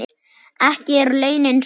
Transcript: Ekki eru launin svo há.